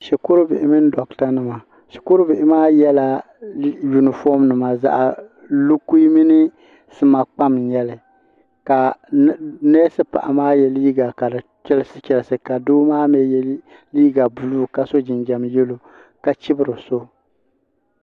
Shukuru bihi mini doɣata nima shukuru bihi maa yela yunifom nima zaɣa lukui mini sima kpam n nyɛli ka neesi paɣa maa ye liiga ka fi chelisi chelisi ka doo maa mee ye liiga buluu ka so jinjiɛm yelo ka chibri so.